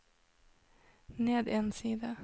ned en side